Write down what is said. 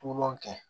Po kɛ